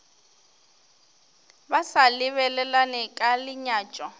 ba sa lebelelane ka lenyatšo